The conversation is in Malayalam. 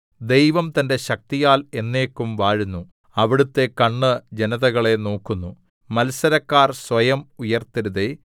ദൈവം തന്റെ ശക്തിയാൽ എന്നേക്കും വാഴുന്നു അവിടുത്തെ കണ്ണ് ജനതകളെ നോക്കുന്നു മത്സരക്കാർ സ്വയം ഉയർത്തരുതേ സേലാ